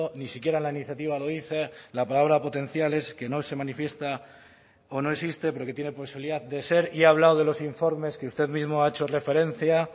ni siquiera la iniciativa lo dice la palabra potencial es que no se manifiesta o no existe pero que tiene posibilidad de ser y he hablado de los informes que usted mismo ha hecho referencia